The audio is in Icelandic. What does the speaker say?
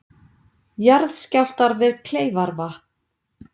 Jarðskjálftar við Kleifarvatn